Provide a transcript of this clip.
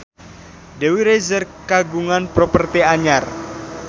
Dewi Rezer kagungan properti anyar